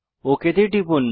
okay তে টিপুন